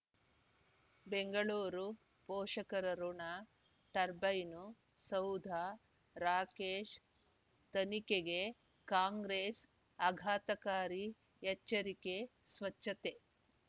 ಬೆಂಗಳೂರು ಪೋಷಕರಋಣ ಟರ್ಬೈನು ಸೌಧ ರಾಕೇಶ್ ತನಿಖೆಗೆ ಕಾಂಗ್ರೆಸ್ ಆಘಾತಕಾರಿ ಎಚ್ಚರಿಕೆ ಸ್ವಚ್ಛತೆ